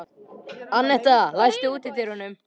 Annetta, læstu útidyrunum.